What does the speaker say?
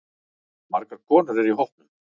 Margar konur eru í hópnum.